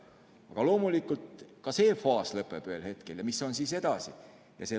Aga loomulikult ka see faas ühel hetkel lõpeb ja mis siis edasi?